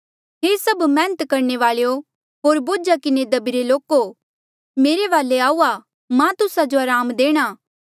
हे सभ मैहनत करणे वाल्ऐ ओ होर बोझा किन्हें दभीरे लोको मेरे वाले आऊआ मां तुस्सा जो अराम देणा